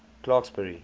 clarksburry